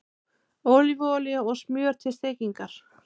Ólífuolía og smjör til steikingar